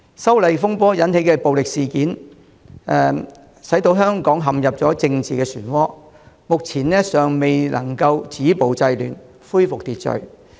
修例風波引起的暴力事件，使香港陷入政治旋渦，目前尚未能止暴制亂，恢復秩序。